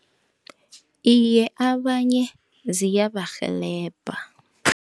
Iye, abanye ziyabarhelebha.